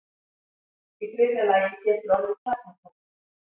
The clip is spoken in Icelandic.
Í þriðja lagi getur orðið kjarnaklofnun.